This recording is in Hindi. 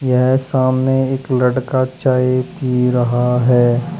यहां सामने एक लड़का चाय पी रहा है।